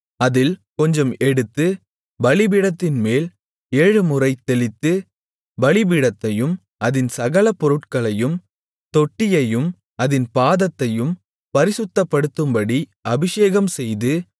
அதில் கொஞ்சம் எடுத்து பலிபீடத்தின்மேல் ஏழுமுறை தெளித்து பலிபீடத்தையும் அதின் சகல பொருட்களையும் தொட்டியையும் அதின் பாதத்தையும் பரிசுத்தப்படுத்தும்படி அபிஷேகம்செய்து